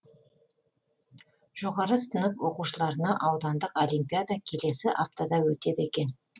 жоғары сынып оқушыларына аудандық олимпиада келесі аптада өтеді екен